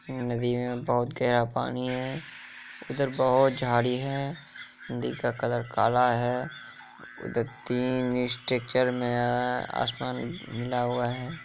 नदी है बहुत गहरा पानी हे । इधर अभूत जड़ी है। नदी का कलर कला है। इधर तीन स्ट्रेचर में असमान बना हुआ है।